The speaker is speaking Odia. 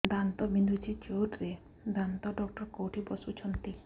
ଦାନ୍ତ ବିନ୍ଧୁଛି ଜୋରରେ ଦାନ୍ତ ଡକ୍ଟର କୋଉଠି ବସୁଛନ୍ତି